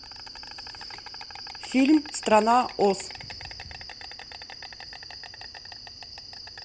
фильм страна оз